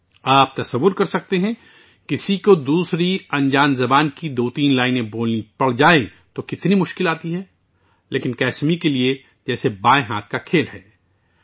آپ تصور کر سکتے ہیں کہ اگر کسی کو کسی اور نامعلوم زبان کی دو یا تین لائنیں بولنی ہوں تو یہ کتنا مشکل ہے، لیکن کسمی کے لیے، یہ بائیں ہاتھ کے کھیل کی طرح ہے